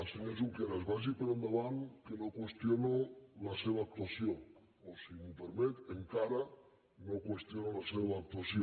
senyor junqueras vagi per endavant que no qüestiono la seva actuació o si m’ho permet encara no qüestiono la seva actuació